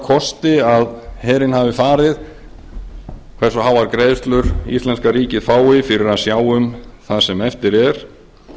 kosti að herinn hafi farið hversu háar greiðslur íslenska ríkið fái fyrir að sjá um það sem eftir er